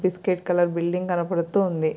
బిస్క్యూరిటీ colour building కనబడుతూ ఉంది.